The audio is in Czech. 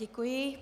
Děkuji.